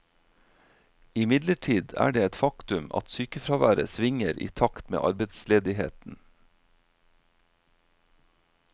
Imidlertid er det et faktum at sykefraværet svinger i takt med arbeidsledigheten.